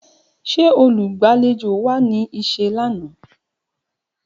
Ṣe olugbalejo wa ni iṣẹ lana?